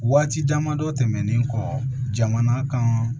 Waati damadɔ tɛmɛnen kɔ jamana kan